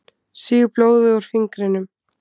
Sýg blóðið úr fingrinum.